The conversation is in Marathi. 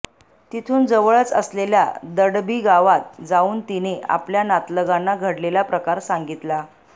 तिथून जवळच असलेल्या दडबी गावात जाऊन तिने आपल्या नातलगांना घडलेला प्रकार सांगितला